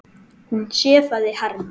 Hún sefaði harma.